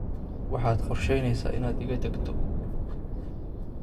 Waxaad qorsheyneysaa inaad iga tagto